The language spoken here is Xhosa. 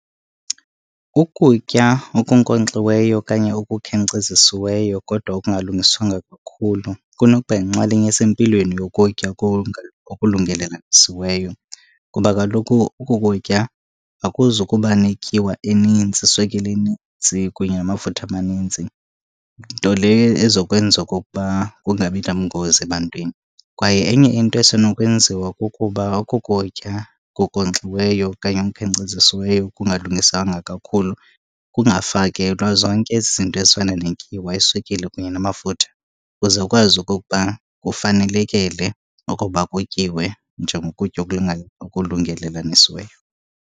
Ukutya okunkonkxiweyo okanye okukhenkcezisiweyo kodwa okungalungiswanga kakhulu kunoba yinxalenye esempilweni yokutya okulungelelanisiweyo, kuba kaloku oku kutya akuzukuba netyiwa enintsi, iswekile kunye namafutha amanintsi, nto leyo ezokwenza okokuba kungabi nabungozi ebantwini. Kwaye enye into esenokwenziwa kukuba oku kutya kunkonkxiweyo okanye kukhenkcezisiweyo kungalungiswanga kakhulu kungafakelwa zonke ezi zinto ezifana netyiwa, iswekile kunye namafutha kuze kukwazi okokuba kufanelekele okokuba kutyiwe njengokutya okulungelelanisiweyo.